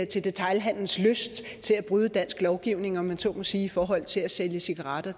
til detailhandelens lyst til at bryde dansk lovgivning om man så må sige i forhold til at sælge cigaretter